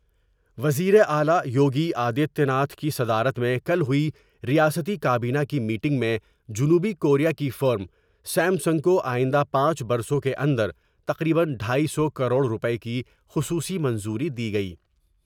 وزیراعلی یوگی آدتیہ ناتھ کی صدارت میں کل ہوئی ریاستی کابینہ کی میٹنگ میں جنوبی کوریا کی فرم سیم سنگ کو آئندہ پانچ برسوں کے اندر تقریبا ڈھائی سو کروڑ روپے کی خصوصی منظوری دی گئی ۔